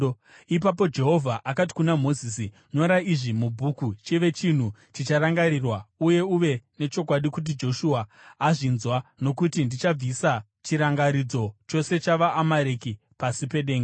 Ipapo Jehovha akati kuna Mozisi, “Nyora izvi mubhuku chive chinhu chicharangarirwa uye uve nechokwadi kuti Joshua azvinzwa, nokuti ndichabvisa chirangaridzo chose cheAmareki pasi pedenga.”